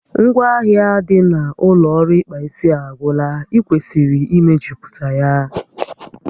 Ngwaahịa dị n'ụlọ ọrụ ịkpa isi a agwụla, ị kwesịrị imejuputa ya